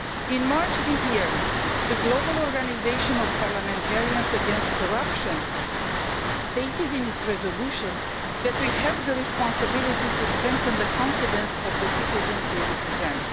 In March this year, the Global Organisation of Parliamentarians against Corruption stated in a resolution that we have a responsibility to strengthen the confidence of the citizens we represent.